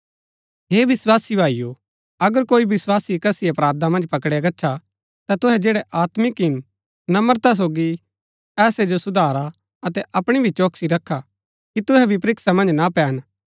हे विस्वासी भाईओ अगर कोई विस्वासी कसी अपराधा मन्ज पकड़ाया गच्छा ता तुहै जैड़ै आत्मिक हिन नम्रता सोगी ऐसै जो सुधारा अतै अपणी भी चौकसी रखा कि तुहै भी परीक्षा मन्ज ना पैन